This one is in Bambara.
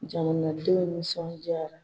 Jamanadenw nisɔndiyara